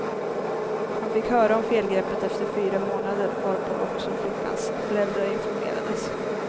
Han fick höra om felgreppet efter fyra månader, varpå också flickans föräldrar informerades.